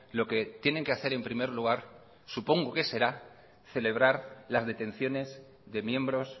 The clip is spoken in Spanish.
lo que tienen que hacer en primer lugar supongo que será celebrar las detenciones de miembros